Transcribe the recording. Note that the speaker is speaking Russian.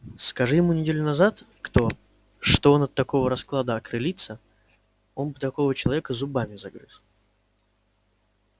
скажи ему неделю назад кто что он от такого расклада окрылится он бы такого человека зубами загрыз